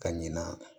Ka ɲina